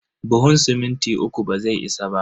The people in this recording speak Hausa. Buhun siminti uku bazai isa ba.